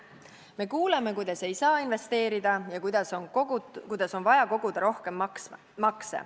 Me kuuleme, kuidas ei saa investeerida ja kuidas on vaja koguda rohkem makse.